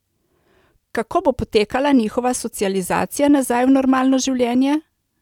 Kako bo potekala njihova socializacija nazaj v normalno življenje?